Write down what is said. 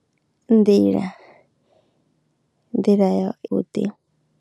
Nḓila, nḓila ya vhuḓi.